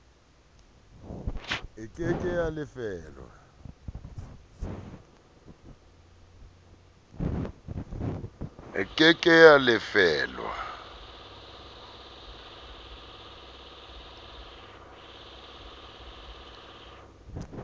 e ke ke ya lefellwa